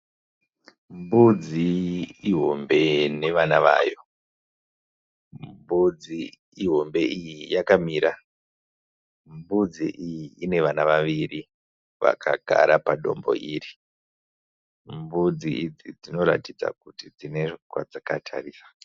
Mbudzi ihombe nevana vayo. Mbudzi ihombe iyi yakamira. Mbudzi iyi ine vana vaviri vakagara padombo iri. Mbudzi idzi dzinoratidza kuti dzine kwadzakatarisa.